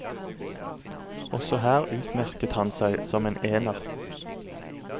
Også her utmerket han seg som en ener.